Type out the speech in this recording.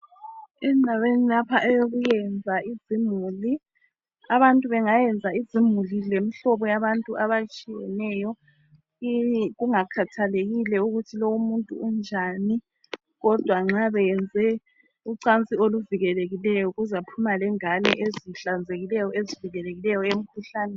Endaweni lapha eyokwenza izimuli, abantu bangayenza izimuli lemhlobo yabantu abatshiyeneyo kungakhathelekile ukuthi lowu umuntu unjani kodwa ma beyenze ucansi oluvikelekileyo kuzaphuma lengane ezihlanzekileyo ezivikelekileyo emkhuhlaneni.